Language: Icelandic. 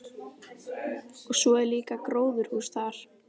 Og svo er líka gróðurhús þar.